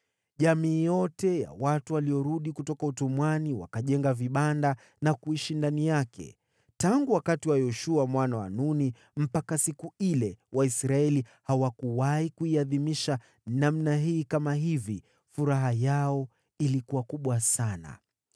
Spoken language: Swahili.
Jamii yote ya watu waliorudi kutoka utumwani wakajenga vibanda na kuishi ndani yake. Tangu wakati wa Yoshua mwana wa Nuni mpaka siku ile, Waisraeli hawakuwahi kuiadhimisha namna hii. Furaha yao ilikuwa kubwa sana.